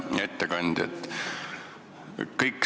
Hea ettekandja!